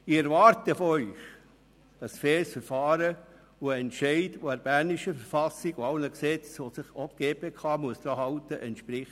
Ich erwarte von Ihnen ein faires Verfahren und einen Entscheid, der der Verfassung des Kantons Bern (KV) und allen Gesetzen, an die sich auch eine GPK halten muss, entspricht.